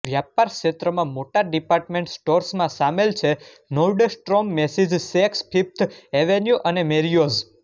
વ્યાપાર ક્ષેત્રમાં મોટા ડિપાર્ટમેન્ટ સ્ટોર્સમાં સામેલ છે Nordstrom Macy's Saks Fifth Avenue અને મેરિયોઝ